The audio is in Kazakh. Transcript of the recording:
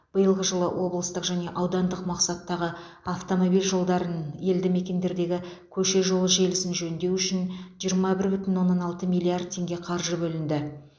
биылғы жылы облыстық және аудандық мақсаттағы автомобиль жолдарын елді мекендердегі көше жолы желісін жөндеу үшін жиырма бір бүтін оннан алты миллиард теңге қаржы бөлінді